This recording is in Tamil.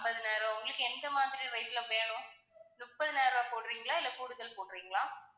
ஐம்பதினாயிரம் உங்களுக்கு எந்த மாதிரி rate ல வேணும்? முப்பதாயிரம் ரூபாய் போடுறீங்களா இல்ல கூடுதல் போடுறீங்களா?